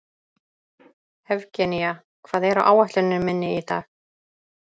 Evgenía, hvað er á áætluninni minni í dag?